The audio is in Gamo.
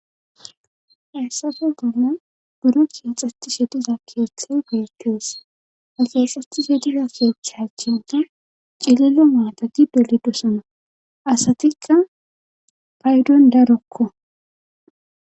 Hessafe bolla buro keexetishe diza keethe beetees axaxati fe diga kiechchachinta cilile maatadi dolidosana asatika paydon darokko.